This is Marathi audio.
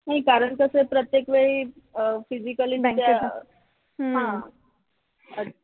कारण कस आहे प्रत्येकवेळी अह physically बँकेच्या